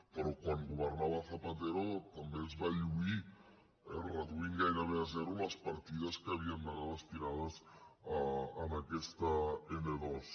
però quan governava zapatero també es va lluir eh reduint gairebé a zero les partides que havien d’anar destinades a aquesta n ii